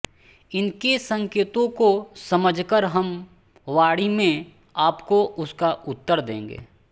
इनके संकेतों को समझ कर हम वाणी में आपको उसका उत्तर देंगे